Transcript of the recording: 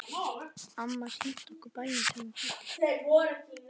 Amma sýndi okkur bæinn sem hún fæddist í.